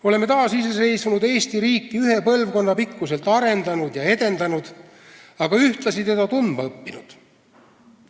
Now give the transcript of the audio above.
Oleme taasiseseisvunud Eesti riiki ühe põlvkonna pikkuselt arendanud ja edendanud, aga ühtlasi teda tundma õppinud.